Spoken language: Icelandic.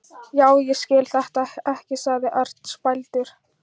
Já, ég skil þetta ekki sagði Örn spældur.